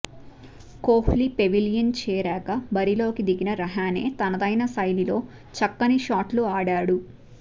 Kohli pavilion చేరాక బరిలోకి దిగిన రహానే తనదైన శైలిలో చక్కటి షాట్లు ఆడాడు